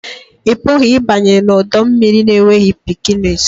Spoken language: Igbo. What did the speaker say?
Ị pụghị ịbanye n'ọdọ mmiri na-enweghị bikinis